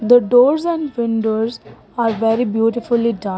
The doors and windows are very beautifully done.